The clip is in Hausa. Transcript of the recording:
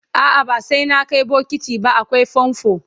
a'a ba sai na Kai bokiti ba akwai famfo